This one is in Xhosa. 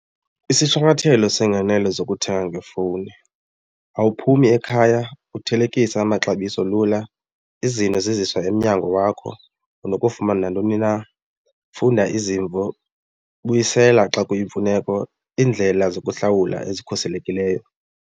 Isishwankathelo seengenelo zokuthenga ngefowuni awaphumi ekhaya uthelekise amaxabiso lula, izinto ziziswa emnyango wakho, unokufumana nantoni na, funda izimvo, buyisela xa kuyimfuneko indlela zokuhlawula ezikhuselekileyo.